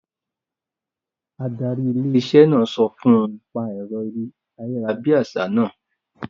Adarí ilé-iṣẹ́ náà sọ fún un; pa ẹ̀rọ ayárabíàṣá náà